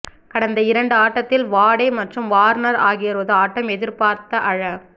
கடந்த இரண்டு ஆட்டத்தில் வாடே மற்றும் வார்னர் ஆகியோரது ஆட்டம் எதிர்பார்த்த அள